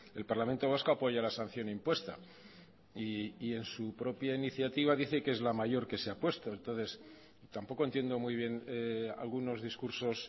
el parlamento vasco apoya la sanción impuesta y en su propia iniciativa dice que es la mayor que se ha puesto entonces tampoco entiendo muy bien algunos discursos